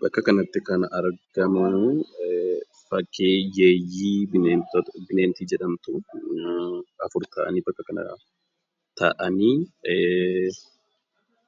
Bakka kanatti kan argamanni fakkii yeeyyii bineensota bakka tokkotti afur taatee taa'anii